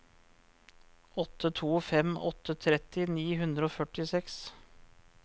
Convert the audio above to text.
åtte to fem åtte tretti ni hundre og førtiseks